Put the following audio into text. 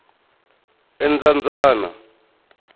endzambyana